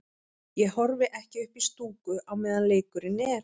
Ég horfi ekki upp í stúku á meðan leikurinn er.